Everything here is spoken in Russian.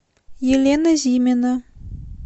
елена зимина